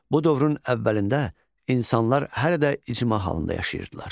Bu dövrün əvvəlində insanlar hələ də icma halında yaşayırdılar.